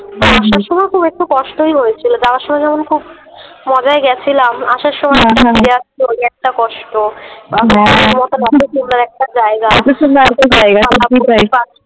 আসার সময় খুব একটু কষ্টই হয়েছিল যাওয়ার সময় যেমন খুব মজায় গেছিলাম আসার সময় আসবো ওই একটা কষ্ট অতো সুন্দর একটা জায়গা অতো সুন্দর একটা জায়গা সত্যি তাই ।